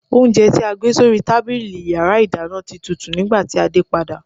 Oúnjẹ tí a gbé sórí tábìlì yàrá ìdáná ti tutù nígbàtí a dé padà.